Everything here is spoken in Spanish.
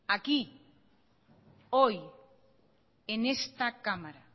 aquí hoy en esta cámara